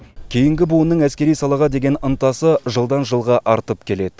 кейінгі буынның әскери салаға деген ынтасы жылдан жылға артып келеді